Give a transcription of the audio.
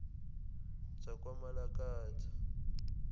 zakwamalakatha